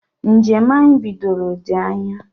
Njem anyị bidoro dị anya